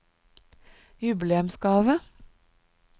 jubileumsgave